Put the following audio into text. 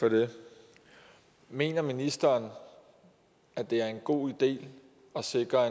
for det mener ministeren at det er en god idé at sikre